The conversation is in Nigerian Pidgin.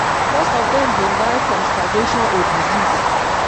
most of dem bin die from starvation or disease.